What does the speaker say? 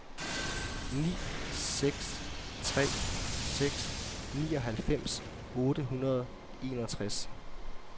ni seks tre seks nioghalvfems otte hundrede og enogtres